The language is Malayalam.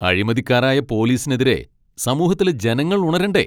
അഴിമതിക്കാരായ പോലീസിനെതിരെ സമൂഹത്തിലെ ജനങ്ങൾ ഉണരണ്ടേ?